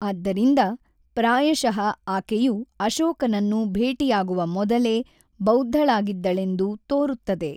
ಆದ್ದರಿಂದ, ಪ್ರಾಯಶಃ ಆಕೆಯು ಅಶೋಕನನ್ನು ಭೇಟಿಯಾಗುವ ಮೊದಲೇ ಬೌದ್ಧಳಾಗಿದ್ದಳೆಂದು ತೋರುತ್ತದೆ.